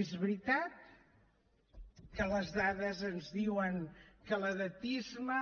és veritat que les dades ens diuen que l’edatisme